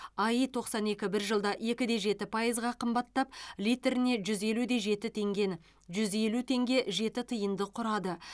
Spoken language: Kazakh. аи тоқсан екі бір жылда екіде жеті пайызға қымбаттап литріне жүз елуде жеті теңгені жүз елу теңге жеті тиынды құрады